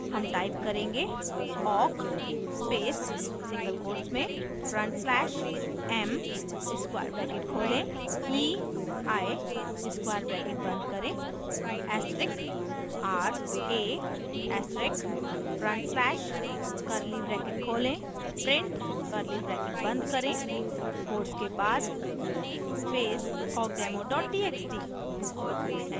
हम type करेंगे: